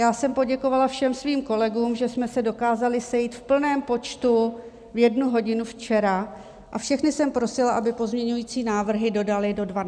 Já jsem poděkovala všem svým kolegům, že jsme se dokázali sejít v plném počtu v jednu hodinu včera, a všechny jsem prosila, aby pozměňující návrhy dodali do 12.30 hodin.